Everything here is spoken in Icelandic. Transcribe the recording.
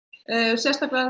sérstaklega